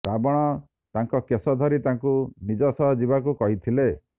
ରାବଣ ତାଙ୍କ କେଶ ଧରି ତାଙ୍କୁ ନିଜ ସହ ଯିବାକୁ କହିଥିଲେ